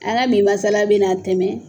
An la bi masala bɛna tɛmɛ